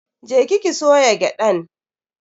Je ki ki soya gyadan.